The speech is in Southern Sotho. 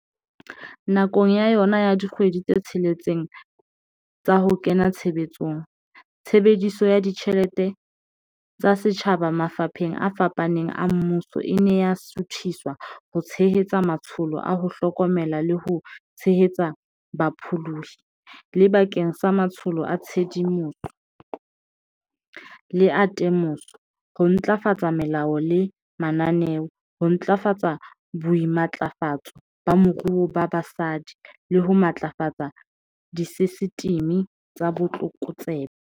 Nakong ya yona ya dikgwedi tse tsheletseng tsa ho kena tshebetsong, tshebediso ya ditjhelete tsa setjhaba mafapheng a fapaneng a mmuso e ne ya suthiswa ho tshe-hetsa matsholo a ho hlokomela le ho tshehetsa bapholohi, le bakeng sa matsholo a tshedimoso le a te-moso, ho ntlafatsa melao le mananeo, ho ntlafatsa boimatlafatso ba moruo ba basadi le ho matlafatsa disesitimi tsa botlokotsebe.